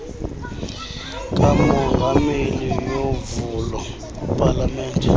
kamongameli yovulo palamente